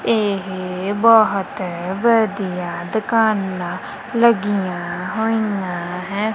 ਇਹ ਬਹੁਤ ਵਧੀਆ ਦੁਕਾਨਾਂ ਲੱਗੀਆਂ ਹੋਈਆਂ ਹੈ।